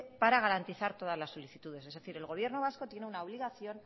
para garantiza todas las solicitudes es decir el gobierno vasco tiene una obligación